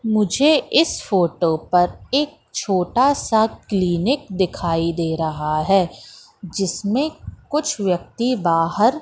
मुझे इस फोटो पर एक छोटा सा क्लिनिक दिखाई दे रहा है जिसमें कुछ व्यक्ति बाहर--